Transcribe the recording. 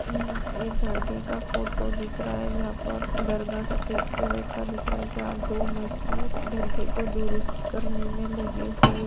अम एक दरगेह का फोटो दिख रहा है जहाँ पर दरगाह सफेद कलर का दिख रहा है जहाँ दो मजदूर दरगेह को दुरुस्त करने में लगे हुए --